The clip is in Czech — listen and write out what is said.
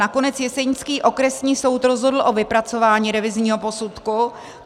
Nakonec jesenický okresní soud rozhodl o vypracování revizního posudku.